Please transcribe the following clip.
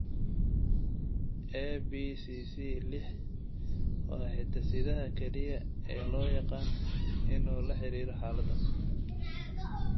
ABCC lix waa hiddasidaha kaliya ee loo yaqaan inuu la xiriiro xaaladdan.